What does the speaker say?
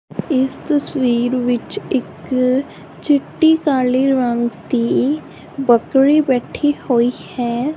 ਇਸ ਤਸਵੀਰ ਵਿੱਚ ਇੱਕ ਚਿੱਟੀ-ਕਾਲੇ ਰੰਗ ਦੀ ਬਕਰੀ ਬੈਠੀ ਹੋਈ ਹੈ।